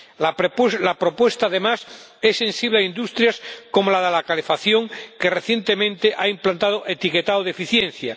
La propuesta, además, es sensible a industrias como la de la calefacción, que recientemente ha implantado el etiquetado de eficiencia.